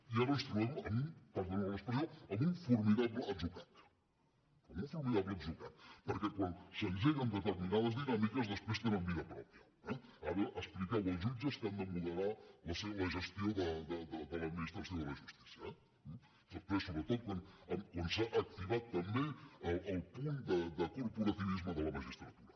i ara ens trobem en un perdonin l’expressió formidable atzucac en un formidable atzucac perquè quan s’engeguen determinades dinàmiques després tenen vida pròpia eh ara expliqueu als jutges que han de moderar la gestió de l’administració de la justícia després sobretot quan s’ha activat també el punt de corporativisme de la magistratura